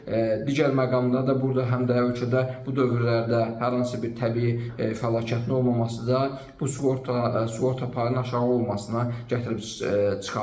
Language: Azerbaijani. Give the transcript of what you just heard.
Digər məqamda da burada həm də ölkədə bu dövrlərdə hər hansı bir təbii fəlakətin olmaması da bu sığorta, sığorta payının aşağı olmasına gətirib çıxarır.